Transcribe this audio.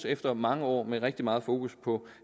efter mange år med rigtig meget fokus på